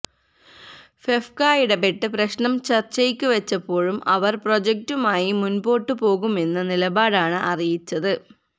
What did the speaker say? ഫെഫ്ക്ക ഇടപ്പെട്ട് പ്രശ്നം ചര്ച്ചയ്ക്കു വച്ചപ്പോഴും അവര് പ്രൊജക്ടുമായി മുന്പോട്ട് പോകുമെന്ന നിലപാടാണ് അറിയിച്ചത്